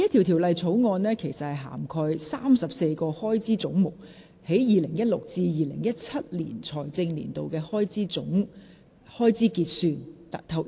《條例草案》涵蓋34個開支總目在 2016-2017 財政年度的開支結算。